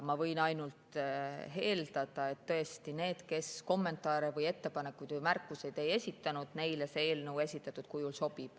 Ma võin ainult eeldada, et neile, kes kommentaare või ettepanekuid ja märkusi ei esitanud, see eelnõu esitatud kujul sobib.